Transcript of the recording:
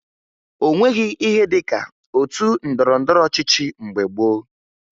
O nweghi ihe dị ka otu ndọrọndọrọ ọchịchị mgbe gboo